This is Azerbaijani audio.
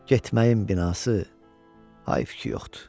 Getməyin binası hayf ki yoxdur.